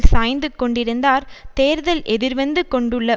சாய்ந்து கொண்டிருந்தார் தேர்தல் எதிர்வந்து கொண்டுள்ள